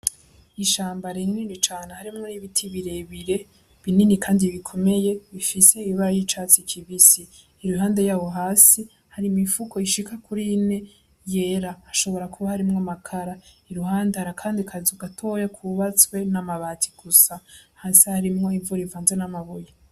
Ishamba rinini cane harimwo n'ibiti birebire binini, kandi bikomeye bifise ibara y'icatsi kibisi iruhande yawo hasi harimoifuko ishika kuri ine yera hashobora kuba harimwo amakara iruhande harakandi kaza ugatoya kubatswe n'amabati gusa hasi harimwo ivu rivanza n'amabuye.